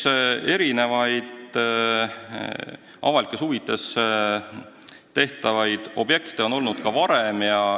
Eks erinevaid avalikes huvides rajatavaid objekte on ikka olnud.